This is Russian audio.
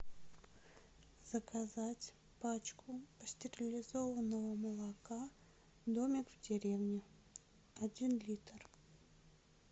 заказать пачку пастерилизованного молока домик в деревне один литр